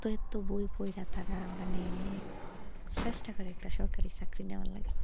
তবুও মানে সস্তা করে একটা সরকারি চাকরি নেওয়া লাগে।